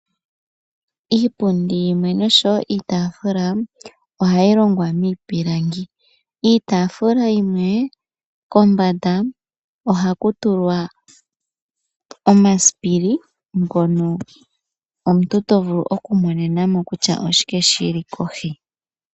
Iipundi yimwe osho wo iitafula ohayi longwa miipilangi. Iitafula yimwe kombanda ohaku tulwa omasipili ngono omuntu to vulu okumonena mo kutya oshike shili kohi.